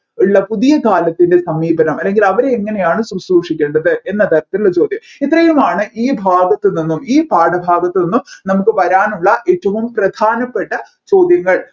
ഉള്ള പുതിയ കാലത്തിൻെറ സമീപനം അല്ല അവരെ എങ്ങനെയാണ് ശ്രുശ്രുഷിക്കേണ്ടത് എന്നതരത്തിലുള്ള ചോദ്യം ഇത്രയുമായാണ് ഈ ഭാഗത്ത് നിന്നും ഈ പാഠഭാഗത്ത് നിന്നും നമ്മുക്ക് വരാനുള്ള ഏറ്റവും പ്രധാനപ്പെട്ട ചോദ്യങ്ങൾ